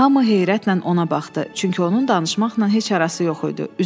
Hamı heyrətlə ona baxdı, çünki onun danışmaqla heç arası yox idi.